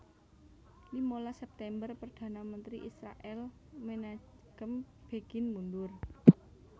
Limalas September Perdana Menteri Israèl Menachem Begin mundur